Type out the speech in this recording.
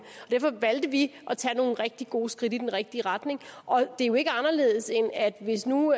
derfor valgte vi at tage nogle rigtig gode skridt i den rigtige retning og det er jo ikke anderledes end at hvis nu